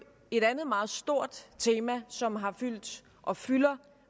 et andet meget stort tema som har fyldt og fylder